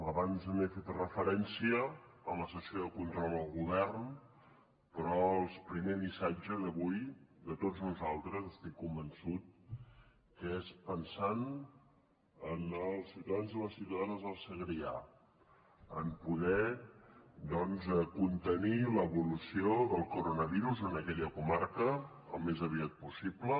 abans hi he fet referència a la sessió de control al govern però el primer missatge d’avui de tots nosaltres estic convençut que és pensant en els ciutadans i les ciutadanes del segrià en poder doncs contenir l’evolució del coronavirus en aquella comarca al més aviat possible